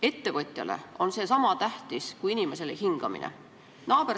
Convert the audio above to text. Ettevõtjale on see sama tähtis kui inimesele hingamine.